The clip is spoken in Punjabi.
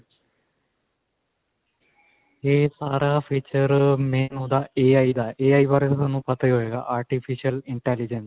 "ਇਹ ਸਾਰਾ feature ਅਅ main ਓਹਦਾ AI ਦਾ